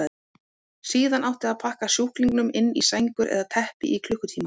Síðan átti að pakka sjúklingunum inn í sængur eða teppi í klukkutíma.